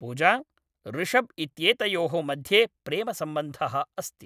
पूजा, ऋषभ् इत्येतयोः मध्ये प्रेमसम्बन्धः अस्ति